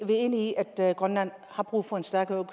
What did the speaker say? vi er enige i at grønland har brug for en stærkere